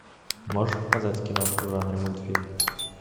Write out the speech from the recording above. можешь показать киношку в жанре мультфильм